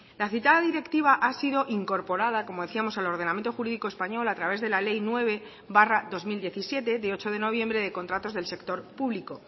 la citada directiva ha sido incorporada como decíamos al ordenamiento jurídico español a través de la ley nueve barra dos mil diecisiete de ocho de noviembre de contratos del sector público